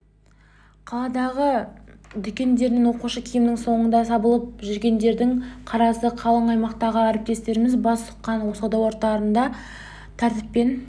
қаладағы дүкендерде оқушы киімінің соңында сабылып жүргендердің қарасы қалың аймақтағы әріптестеріміз бас сұққан сауда орындарында тәртіппен